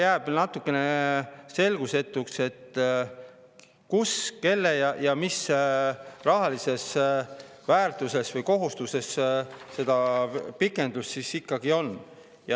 Jääb natukene selgusetuks, kus ja mis rahalises väärtuses või kelle kohustus see pikendus ikkagi on.